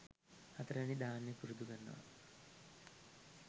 හතරවෙනි ධ්‍යානය පුරුදු කරන්න.